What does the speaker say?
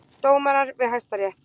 Dómarar við Hæstarétt.